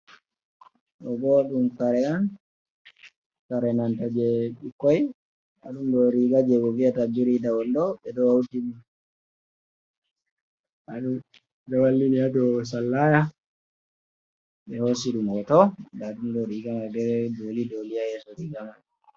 Ɗo bo ɗum kare on, kare nanta je dikkoi nda ɗum ɗoo riiga je ɓe viyata biri da wando ve ɗo wallini ha dow sallaya ɓe hosi ɗum hotoo nda ɗum ɗo riga mai ne doli doli ha yeso riga mai.